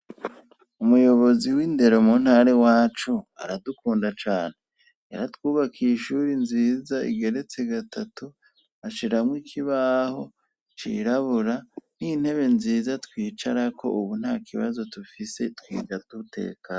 Umuyobozi w'indero mu ntare iwacu aradukunda cane. Yaratwubaka ishuri nziza igeretse gatatu, ashiramwo ikibaho cirabura, n'intebe nziza twicarako ubu ntakibazo dufise twiga dutekanye.